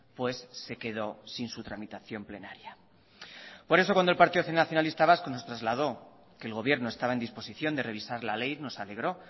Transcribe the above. pues se quedó sin su tramitación plenaria por eso cuando el partido nacionalista vasco nos trasladó que el gobierno estaba en disposición de revisar la ley nos alegró